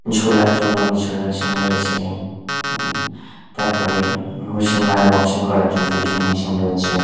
ঝোলার জন্য কিছু মেশিন রয়েছে ঘু তারপরে ঘুসি মারা বক্সিং করার জন্য কিছু মেশিন রয়েছে।